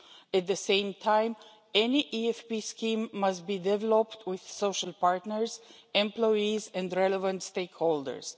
At the same time, any EFP scheme must be developed with social partners, employees and relevant stakeholders.